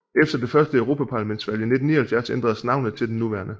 Efter det første europaparlamentsvalg i 1979 ændredes navnet til det nuværende